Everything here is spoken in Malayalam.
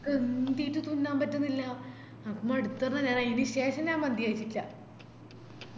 എന്തേയിറ്റു തിന്നാൻപറ്റുന്നില്ല നമുക്ക് മടുത്തപ്പാ ഞാനായിന് ശേഷം ഞാൻ മന്തികയിച്ചിട്ടില്ല